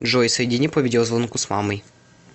джой соедини по видеозвонку с мамой